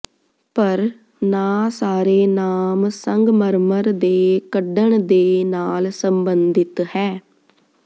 ਪਰ ਨਾ ਸਾਰੇ ਨਾਮ ਸੰਗਮਰਮਰ ਦੇ ਕੱਢਣ ਦੇ ਨਾਲ ਸੰਬੰਧਿਤ ਹੈ